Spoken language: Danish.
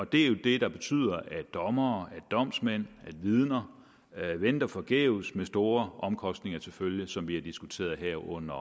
det er jo det der betyder at dommere domsmænd vidner venter forgæves med store omkostninger til følge som vi har diskuteret her under